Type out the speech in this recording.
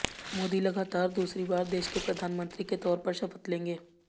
मोदी लगातार दूसरी बार देश के प्रधानमंत्री के तौर पर शपथ लेंगे